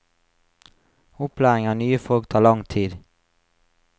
Opplæring av nye folk tar lang tid.